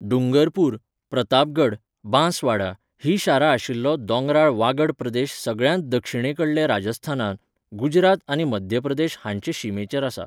डूंगरपूर, प्रतापगढ, बांसवाडा हीं शारां आशिल्लो दोंगराळ वागड प्रदेश सगळ्यांत दक्षिणेकडले राजस्थानांत, गुजरात आनी मध्य प्रदेश हांचे शिमेचेर आसा.